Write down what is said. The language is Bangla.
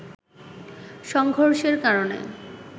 সংঘর্ষের কারণে